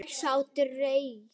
Ég sá dýrið.